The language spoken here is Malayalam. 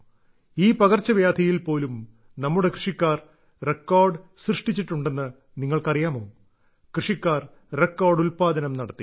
ഈ പകർച്ചവ്യാധിയിൽ പോലും നമ്മുടെ കൃഷിക്കാർ റെക്കോർഡ് സൃഷ്ടിച്ചിട്ടുണ്ടെന്ന് നിങ്ങൾക്കറിയാമോ കൃഷിക്കാർ റെക്കോർഡ് ഉൽപ്പാദനം നടത്തി